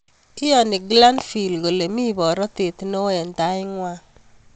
Iyanii Glanvil kolee mii porotet neo eng Tait ngwang